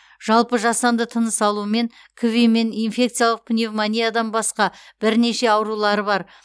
жалпы жасанды тыныс алумен кви мен инфекциялық пневомниядан басқа бірнеше аурулары бар